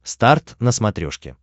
старт на смотрешке